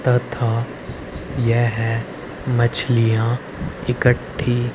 तथा यह मछलियां इकट्ठी--